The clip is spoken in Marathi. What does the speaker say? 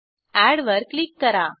एड वर क्लिक करा